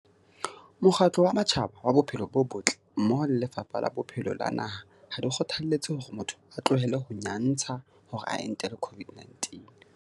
Karabo- Mokgatlo wa Matjhaba wa Bophelo bo Botle mmoho le Lefapha la Bophelo la naha ha di kgothaletse hore motho a tlohele ho nyantsha hore a entele COVID-19.